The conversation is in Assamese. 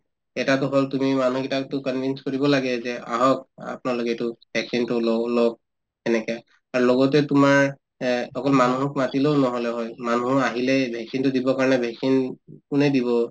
এটাতো হৈ গল তুমি মানুহকেইটাকতো convince কৰিব লাগে যে আহক আপোনালোকে এইটো vaccine তো লও লওক তেনেকে আৰু লগতে তোমাৰ এহ্ অকল মানুহক মাতিলেও নহলে হয় মানুহো আহিলে vaccine তো দিবৰ কাৰণে vaccine কোনে দিব